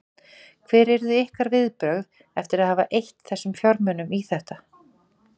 Hver yrðu ykkar viðbrögð eftir að hafa eytt þessum fjármunum í þetta?